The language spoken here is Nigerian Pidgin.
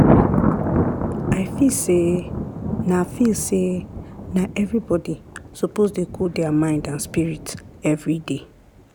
i feel say na feel say na everybody suppose dey cool der mind and spirit everyday.